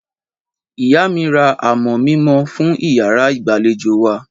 Ìyá mi ra amọ̀ mímọ́ fún ìyàrá ìgbàlejò wa.